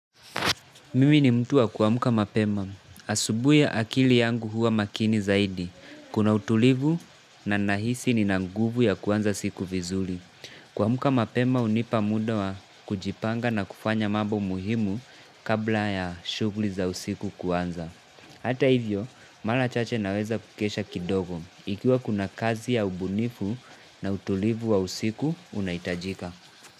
Mimi ni mtu wa kuamka mapema. Asubuhi akili yangu huwa makini zaidi. Kuna utulivu na nahisi nina nguvu ya kwanza siku vizuri. Kuamka mapema hunipa muda wa kujipanga na kufanya mambo muhimu kabla ya shughuli za usiku kwanza. Hata hivyo, mara chache naweza kukesha kidogo. Ikiwa kuna kazi ya ubunifu na utulivu wa usiku unahitajika.